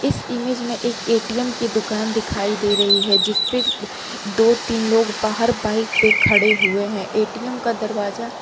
इस इमेज में एक ए_टी_एम की दुकान दिखाई दे रही है जिस पे दो तीन लोग बाहर बाइक पे खड़े हुए हैं ए_टी_एम का दरवाजा--